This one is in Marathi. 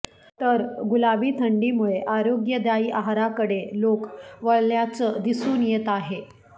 तर गुलाबी थंडीमुळे आरोग्यदायी आहाराकडे लोक वळल्याच दिसून येत आहे